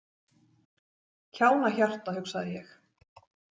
Kjánahjarta, hugsaði ég.